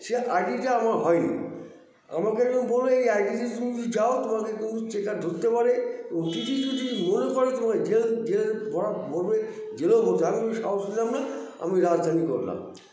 সেই it টা আমার হয়নি আমাকে তো বললো এই itc তে তুমি যদি যাও তোমাকে কিন্তু checker ধরতে পারে ও tt যদি মনে করে তোমায় জেল জেল ভরা ভরবে জেলেও ভরতে পারে আমি আর সাহস নিলাম না আমি রাজধানী করলাম